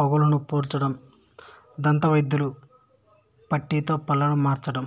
పగుళ్లను పూడ్చడం దంతవైద్యుల పుట్టీతో పళ్ళను మార్చడం